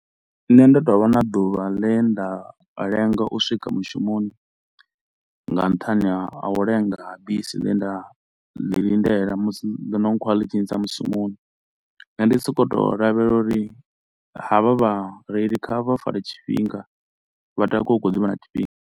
Nṋe ndo tou vha na ḓuvha ḽe nda lenga u swika mushumoni nga nṱhani ha a u lenga ha bisi ḽe nda ḽi lindela musi, ḽo no nkhwala ḽi tshi ntsia mushumoni ende ndi so ko u to lavhelela uri ha vha vha reili kha vha fare tshifhinga vha takuwe hu kha ḓivha na tshifhinga.